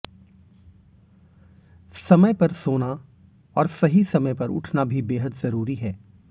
समय पर सोना और सही समय पर उठना भी बेहद जरूरी है